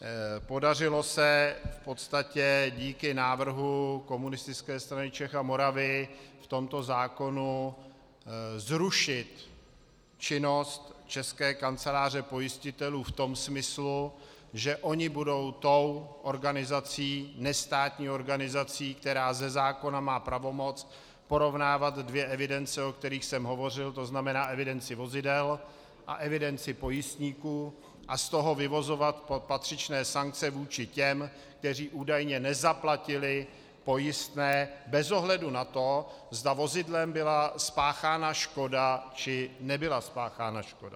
Podařilo se v podstatě díky návrhu Komunistické strany Čech a Moravy v tomto zákonu zrušit činnost České kanceláře pojistitelů v tom smyslu, že oni budou tou organizací, nestátní organizací, která ze zákona má pravomoc porovnávat dvě evidence, o kterých jsem hovořil, to znamená evidenci vozidel a evidenci pojistníků, a z toho vyvozovat patřičné sankce vůči těm, kteří údajně nezaplatili pojistné bez ohledu na to, zda vozidlem byla spáchána škoda či nebyla spáchána škoda.